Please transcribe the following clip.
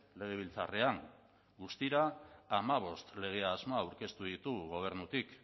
legebiltzarrean guztira hamabost lege asmo aurkeztuko ditugu gobernutik